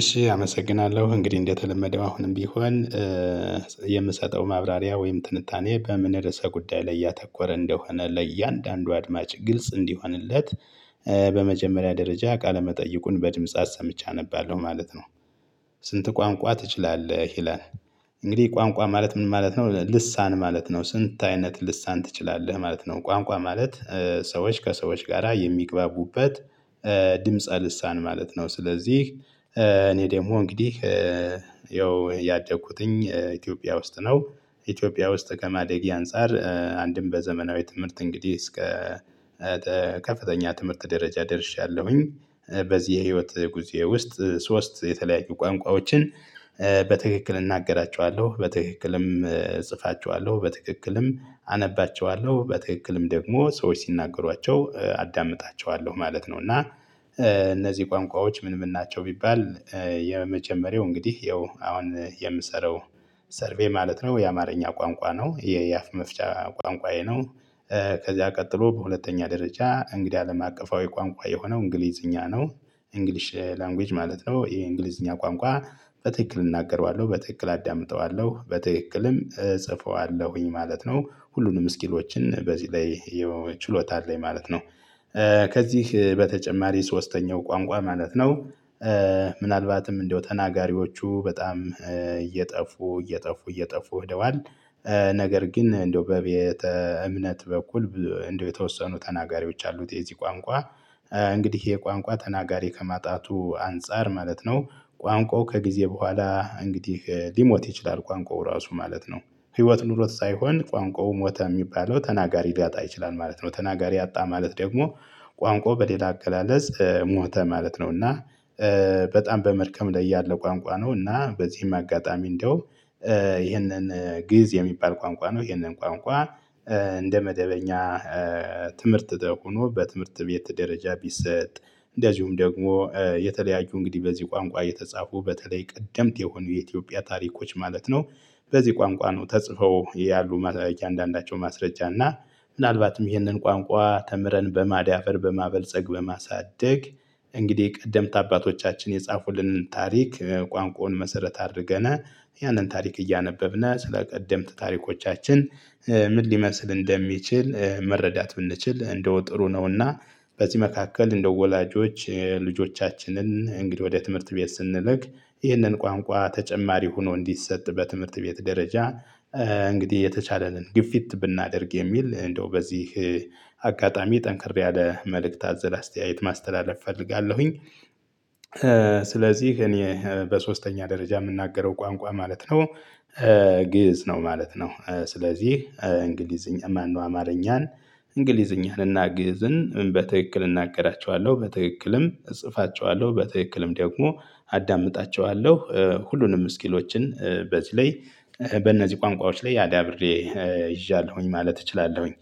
እሺ አመሰግናለሁ እንግዲህ እንደተለመደው አሁንም ቢሆን የምሰጠው ማብራሪያ ወይም ትንታኔ በምን ርዕሰ ጉዳይ ላይ ያተኮረ እንደሆነ ለእያንዳንዱ አድማጭ ግልጽ እንዲሆንለት በመጀመሪያ ደረጃ ቃለ መጠይቁን በድምጽ አሰምቼ አነባለሁ ማለት ነው። ስንት ቋንቋ ትችላለህ ይላል? እንግዲህ ቋንቋ ማለት ምን ማለት ነው ልሳን ማለት ነው። ስንት አይነት ልሳን ትችላለህ ማለት ነው? ቋንቋ ማለት ሰዎች ከሰዎች ጋራ የሚግባቡበት ድምጸ ልሳን ማለት ነው። ስለዚህ እኔ ደግሞ እንግዲህ ያው ያደኩትኝ ኢትዮጵያ ውስጥ ነው። ኢትዮጵያ ውስጥ ከማደጌ አንፃር አንድም በዘመናዊ ትምህርት እንግዲህ እስከ ከፍተኛ ትምህርት ደረጃ ደርሻለሁኝ። በዚህ የህይወት ጉዞዬ ውስጥ ሶስት የተለያዩ ቋንቋዎችን በትክክል እናገራቸዋለሁ በትክክልም እጽፋቸዋለሁ በትክክልም አነባቸዋለሁ በትክክልም ደግሞ ሰዎች ሲናገሯቸው አዳምጣቸዋለሁ ማለት ነው። እና እነዚህ ቋንቋዎች ምን ምን ናቸው? ቢባል የመጀመሪያው እንግዲህ ይኸው አሁን የምሰራው ሰርቬይ ማለት ነው የአማርኛ ቋንቋ ነው የያፍ መፍቻ ቋንቋዬ ነው። ከዚያ ቀጥሎ በሁለተኛ ደረጃ እንግዲህ አለም አቀፋዊ ቋንቋዬ የሆነው እንግሊዝኛ ነው። እንግሊሽ ላንጉጅ ማለት ነው ይሄ እንግሊዝኛ ቋንቋ በትክክል እናገረዋለሁ በትክክል አዳምጠዋለሁ በትክክልም እጽፈዋለሁኝ ማለት ነው ሁሉንም ስኪሎችን በዚህ ላይ ችሎታ አለኝ ማለት ነው። ከዚህ በተጨማሪ ሶስተኛው ቋንቋ ማለት ነው ምናልባትም እንደው ተናጋሪዎቹ በጣም እየጠፉ እየጠፉ እየጠፉ ሄደዋል። ነገር ግን እንደው በቤተ እምነት በኩል እንደው የተወሰኑ ተናጋሪዎች አሉት የዚህ ቋንቋ። እንግዲህ ይሄ ቋንቋ ተናጋሪ ከማጣቱ አንፃር ማለት ነው ቋንቋው ከጊዜ በኋላ እንግዲህ ሊሞት ይችላል። ቋንቋው ራሱ ማለት ነው ህይወት ኑሮት ሳይሆን ቋንቋው ሞተ የሚባለው ተናጋሪ ሊያጣ ይችላል ማለት ነው። ተናጋሪ አጣ ማለት ደግሞ ቋንቋው በሌላ አገላለጽ ሞተ ማለት ነው። እና በጣም በመድከም ላይ ያለ ቋንቋ ነው። እና በዚህም አጋጣሚ እንደው ይሄንን ግእዝ የሚባል ቋንቋ ነው ይሄንን ቋንቋ እንደ መደበኛ ትምህርት ሆኖ በትምህርት ቤት ደረጃ ቢሰጥ። እንደዚሁም ደግሞ የተለያዩ እንግዲህ በዚህ ቋንቋ የተጻፉ በተለይ ቀደምት የሆኑ የኢትዮጵያ ታሪኮች ማለት ነው። በዚህ ቋንቋ ነው ተጽፈው ያሉ ማስረ እንዳንዳቸው ማስረጃ እና ምናልባትም ይህንን ቋንቋ ተምረን በማዳበር በማበልጸግ በማሳደግ እንግዲህ ቀደምት አባቶቻችን የጻፉልንን ታሪክ ቋንቋውን መሰረት አድርገነ ያንን ታሪክ እያነበብነ ስለቀደምት ታሪኮቻችን ምን ሊመስል እንደሚችል መረዳት ብንችል እንደው ጥሩ ነው። እና በዚህ መካከል እንደው ወላጆች ልጆቻችንን እንግዲህ ወደ ትምህርት ቤት ስንልክ ይህንን ቋንቋ ተጨማሪ ሆኖ እንዲሰጥ በትምህርት ቤት ደረጃ እንግዲህ የተቻለንን ግፊት ብናደርግ የሚል እንደው በዚህ አጋጣሚ ጠንክር ያለ መልእክት አዘል አስተያየት ማስተላለፍ እፈልጋለሁኝ። ስለዚህ እኔ በሶስተኛ ደረጃ የምናገረው ቋንቋ ማለት ነው ግእዝ ነው ማለት ነው። ስለዚህ እንግሊዝኛ ማነው አማርኛን እንግሊዝኛን እና ግዕዝን በትክክል እናገራቸዋለሁ በትክክልም እጽፋቸዋለሁ በትክክልም ደግሞ አዳምጣቸዋለሁ። ሁሉንም ስኪሎችን በዚህ ላይ በእነዚህ ቋንቋዎች ላይ አዳብሬ ይዣለሁኝ ማለት እችላለሁኝ።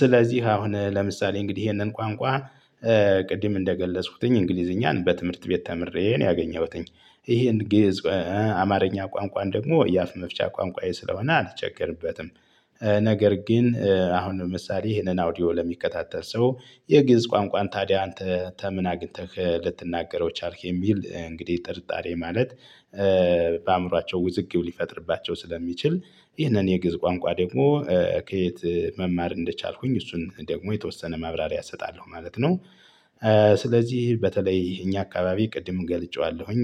ስለዚህ አሁን ለምሳሌ እንግዲህ ይሄንን ቋንቋ ቅድም እንደገለጽኩትኝ እንግሊዝኛን በትምህርት ቤት ተምሬ ነው ያገኘሁትኝ። ይሄን ገዕዝ አማርኛ ቋንቋን ደግሞ የአፍ መፍቻ ቋንቋዬ ስለሆነ አልቸገርበትም። ነገር ግን አሁን ለምሳሌ ይሄንን አውዲዮ ለሚከታተል ሰው የግዕዝ ቋንቋን ታዲያ አንተ ተምን አግኝተህ ልትናገረው ቻልክ የሚል እንግዲህ ጥርጣሬ ማለት። በአእምሯቸው ውዝግብ ሊፈጥርባቸው ስለሚችል ይህንን የግዕዝ ቋንቋ ደግሞ ከየት መማር እንደቻልኩኝ እሱን ደግሞ የተወሰነ ማብራሪያ እሰጣለሁ ማለት ነው። ስለዚህ በተለይ እኛ አካባቢ ቅድም ገልጬዋለሁኝ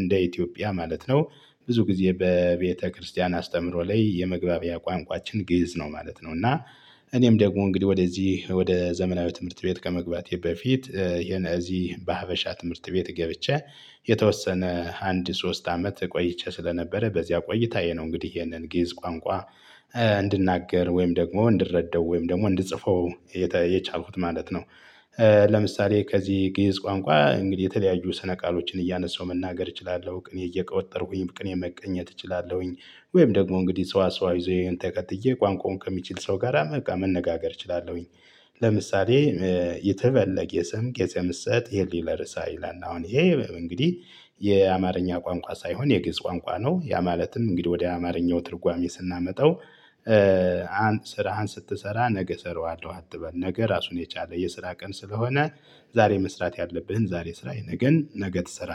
እንደ ኢትዮጵያ ማለት ነው ብዙ ጊዜ በቤተክርስቲያን አስተምሮ ላይ የመግባቢያ ቋንቋችን ግእዝ ነው ማለት ነው። እና እኔም ደግሞ እንግዲህ ወደዚህ ወደ ዘመናዊ ትምህርት ቤት ከመግባቴ በፊት የነዚህ በሀበሻ ትምህርት ቤት ገብቼ የተወሰነ አንድ ሶስት አመት ቆይቼ ስለነበረ በዚያ ቆይታዬ ነው እንግዲህ ይሄንን ግእዝ ቋንቋ እንድናገር ወይም ደግሞ እንድረዳው ወይም ደግሞ እንድጽፈው የቻልኩት ማለት ነው። ለምሳሌ ከዚህ ግእዝ ቋንቋ እንግዲህ የተለያዩ ስነ ቃሎችን እያነሳው መናገር እችላለሁ ቅኔ እየቆጠርኩኝ ቅኔ መቀኘት እችላለሁኝ። ወይም ደግሞ እንግዲህ ሰዋስዋዊ ዘይቤን ተከትዬ ቋንቋውን ከሚችል ሰው ጋራ መቃ መነጋገር እችላለሁኝ። ለምሳሌ ኢትበል ለጌሰም ጌሰምሰ ትሄሊ ለርዕሳ ይላል አሁን ይሄ እንግዲህ የአማርኛ ቋንቋ ሳይሆን የግዕዝ ቋንቋ ነው። ያ ማለትም እንግዲህ ወደ አማርኛው ትርጓሜ ስናመጣው ስራህን ስትሰራ ነገ እሰራዋለሁ አትበል ነገ ራሱን የቻለ የስራ ቀን ስለሆነ ዛሬ መስራት ያለብህን ዛሬ ስራ የነገን ነገ ትሰራለህ